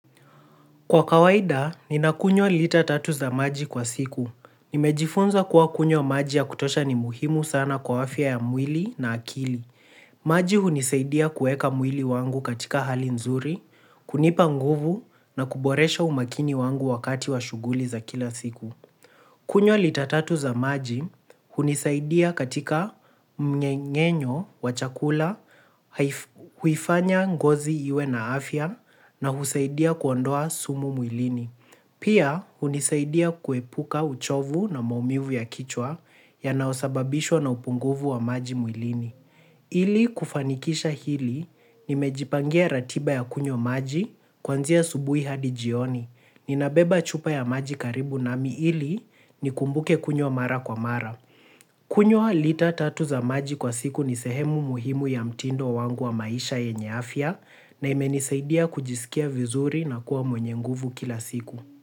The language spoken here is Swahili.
Kwa kawaida, ninakunywa lita tatu za maji kwa siku. Nimejifunza kuwa kunywa maji ya kutosha ni muhimu sana kwa afya ya mwili na akili. Maji hunisaidia kuweka mwili wangu katika hali nzuri, kunipa nguvu na kuboresha umakini wangu wakati wa shughuli za kila siku. Kunywa lita tatu za maji hunisaidia katika mmeng'enyo wa chakula, huifanya ngozi iwe na afya na husaidia kuondoa taka mwilini. Pia hunisaidia kuepuka uchovu na maumivu ya kichwa yanayosababishwa na upungufu wa maji mwilini. Ili kufanikisha hili, nimejipangia ratiba ya kunywa maji kuanzia asubuhi hadi jioni. Ninabeba chupa ya maji karibu nami ili nikumbuke kunywa mara kwa mara. Kunywa lita tatu za maji kwa siku ni sehemu muhimu ya mtindo wangu wa maisha yenye afya, na imenisaidia kujisikia vizuri na kuwa mwenye nguvu kila siku.